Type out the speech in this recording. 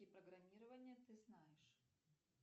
программирования ты знаешь